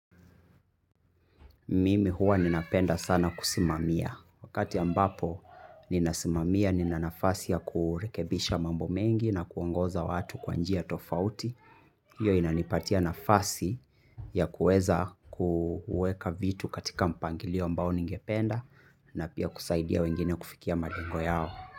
Mimi huwa ninapenda sana kusimamia. Wakati ambapo ninasimamia, nina nafasi ya kurekebisha mambo mengi na kuongoza watu kwa njia tofauti. Hiyo inanipatia nafasi ya kuweza kuweka vitu katika mpangilio ambao ningependa na pia kusaidia wengine kufikia malengo yao.